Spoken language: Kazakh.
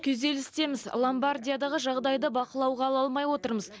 күйзелістеміз ломбардиядағы жағдайды бақылауға ала алмай отырмыз